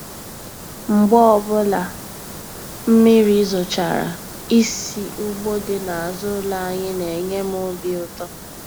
Mgbe ọbụla mmiri zochara, isi ugbo dị n'azụ ụlọ anyị na-enye m obi ụtọ.